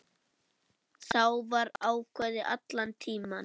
Það var ákveðið allan tímann.